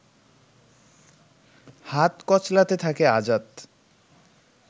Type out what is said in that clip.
হাত কচলাতে থাকে আজাদ